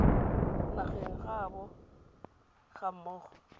nageng ya gaabo ga mmogo